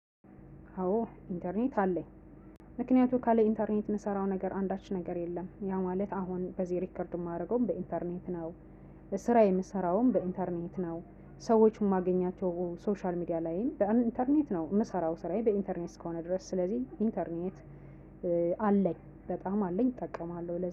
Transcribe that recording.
አዎ ኢንተርኔት አለኝ ምክንያቱም ካለ ኢንተርኔት የምሰራው ነገር አንዳች ነገር የለም ያ ማለት አሁን እዚህ ሪከርድ የማደርገውም በ ኢንተርኔት ነው። ስራ የምሰራውም በ ኢንተርኔት ነው። ሰዎች የማገኛቸው ሶሻል ሚዲያ ላይም በ ኢንተርኔት ነው የምሰራው ስራዬ በ ኢንተርኔት እስከሆነ ድረስ ስለዚህ ኢንተርኔት አለኝ በጣም አለኝ እጠቀማለሁ